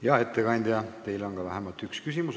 Hea ettekandja, teile on vähemalt üks küsimus.